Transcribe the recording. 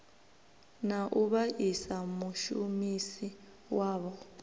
na u vhaisa mushumisi wawo